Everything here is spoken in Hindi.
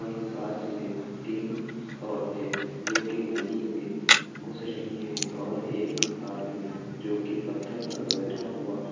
वहीं पास में तीन औरतें जो की नदी में घुस रही हैं और एक आदमी जो की पत्थर पर बैठा हुआ है।